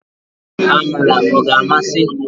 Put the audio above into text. Amala ọ ga-amasị?